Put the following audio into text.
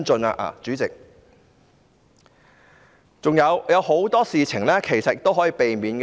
還有很多事情其實是可以避免的。